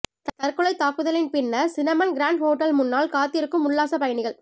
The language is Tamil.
தற்கொலைத் தாக்குதலின் பின்னர் சினமன் கிரான்ட் ஹோட்டல் முன்னால் காத்திருக்கும் உல்லாசப் பயணிகள்